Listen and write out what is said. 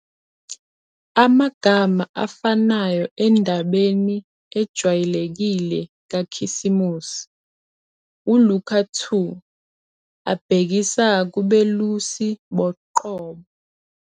Amagama afanayo endabeni ejwayelekile kaKhisimusi, uLuka 2, abhekisa kubelusi boqobo.